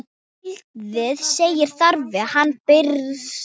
Elliði segir þarfir hafa breyst.